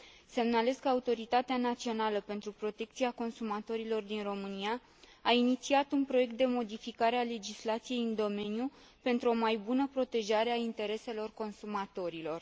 Semnalez că Autoritatea Națională pentru Protecția Consumatorilor din România a inițiat un proiect de modificare a legislației în domeniu, pentru o mai bună protejare a intereselor consumatorilor.